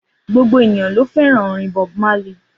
Gbogbo ènìyàn ló fẹ́ràn orin Bob Marley